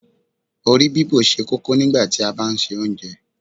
Orí bíbò ṣe kókó nígbàtí a bá ń se Oúnjẹ